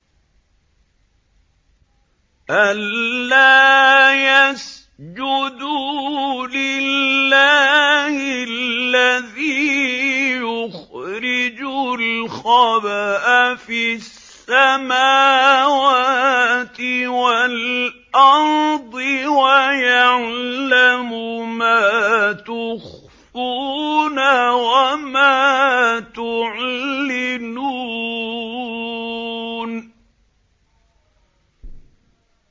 أَلَّا يَسْجُدُوا لِلَّهِ الَّذِي يُخْرِجُ الْخَبْءَ فِي السَّمَاوَاتِ وَالْأَرْضِ وَيَعْلَمُ مَا تُخْفُونَ وَمَا تُعْلِنُونَ